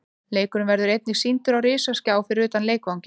Leikurinn verður einnig sýndur á risaskjá fyrir utan leikvanginn.